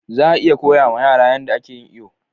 Za a iya koya ma yara yanda a ke yin iyo